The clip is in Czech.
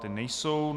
Ta nejsou.